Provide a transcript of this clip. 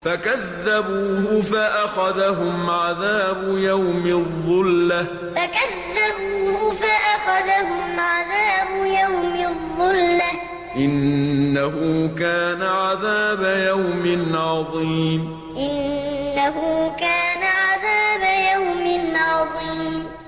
فَكَذَّبُوهُ فَأَخَذَهُمْ عَذَابُ يَوْمِ الظُّلَّةِ ۚ إِنَّهُ كَانَ عَذَابَ يَوْمٍ عَظِيمٍ فَكَذَّبُوهُ فَأَخَذَهُمْ عَذَابُ يَوْمِ الظُّلَّةِ ۚ إِنَّهُ كَانَ عَذَابَ يَوْمٍ عَظِيمٍ